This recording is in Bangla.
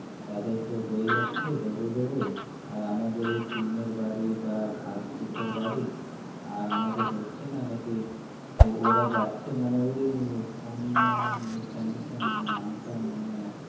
তাদের তো হয়ে যাচ্ছে double double আর আমাদের এই নিটের বাড়ি বা ঘাসপুসের বাড়ি আর আমাদের হচ্ছে না নাকি ওরা যাচ্ছে মানে ওই কোন news channel টা নাম টা মনে আসছে না